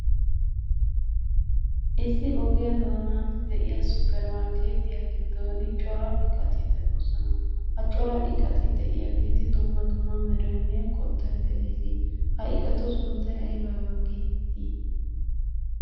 Issi ogiyaa doonaan de"iyaa suppurmarkkeetiya giddon cora iqati de'oosona. Ha cora iqati de"iyaageeti dumma dumma meraynne qottay de'ees. Ha iqatu sunttay aybaa aybaa geetettii?